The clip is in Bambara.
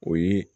O ye